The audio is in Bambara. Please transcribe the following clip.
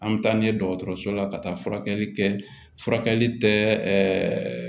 An bɛ taa n'a ye dɔgɔtɔrɔso la ka taa furakɛli kɛ furakɛli tɛ